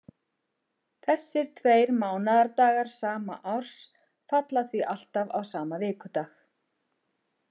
Þessir tveir mánaðardagar sama árs falla því alltaf á sama vikudag.